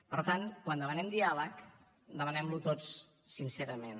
per tant quan demanem diàleg demanem lo tots sincerament